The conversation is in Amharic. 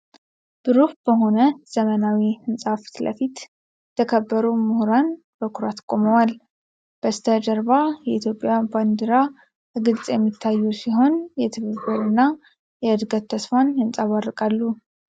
ብሩህ በሆነ ዘመናዊ ሕንፃ ፊት ለፊት፣ የተከበሩ ሙህራን በኩራት ቆመዋል። በስተጀርባ የኢትዮጵያ ባንዲራ በግልጽ የሚታዩ ሲሆን፣ የትብብርና የእድገት ተስፋን ያንጸባርቃሉ።